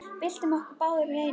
Byltum okkur báðar í einu.